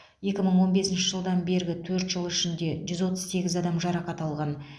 екі мың он бесінші жылдан бергі төрт жыл ішінде жүз отыз сегіз адам жарақат алған